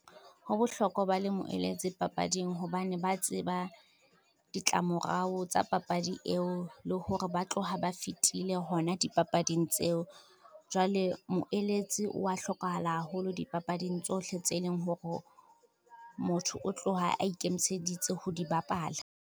Ho bohlokwa ba le moeletsi papading hobane ba tseba, ditlamorao tsa papadi eo le hore ba tloha ba fetile hona dipapading tseo. Jwale moeletsi wa hlokahala haholo dipapading tsohle tse leng hore, motho o tloha a ikemiseditse ho di bapala.